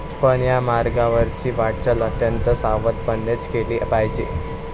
पण या मार्गावरची वाटचाल अत्यंत सावधपणेच केली पाहिजे.